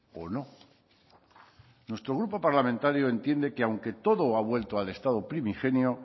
o no nuestro grupo parlamentario entiende que aunque todo ha vuelto al estado primigenio